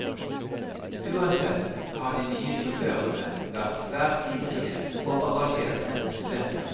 Uansett har de nye sjåførene vært svært ivrige og engasjerte studenter.